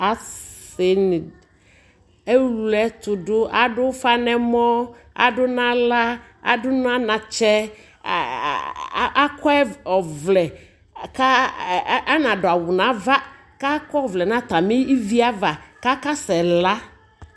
asii ɛwlɛ ɛtʋdʋ, adʋ ʋƒa nʋ ɛmɔ, adʋ nʋ ala, adʋnʋ anatsɛ, akɔ ɔvlɛ ka anadʋ awʋ nʋ aɣa kʋ akɔ ɔvlɛ nʋ atami ɛvi aɣa kʋ asɛ la